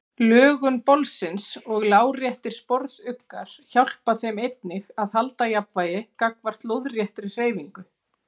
Lögun bolsins og láréttir sporðuggar hjálpa þeim einnig að halda jafnvægi gagnvart lóðréttri hreyfingu.